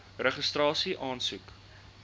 registrasieaansoek